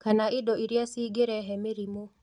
Kana indo iria cingĩrehe mĩrimũ